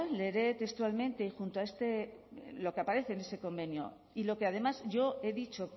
leeré textualmente y junto a este lo que aparece en ese convenio y lo que además yo he dicho